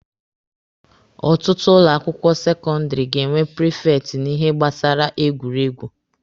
Ọtụtụ ụlọ akwụkwọ sekọndịrị ga-enwe prifekti n'ihe gbasara egwuregwu.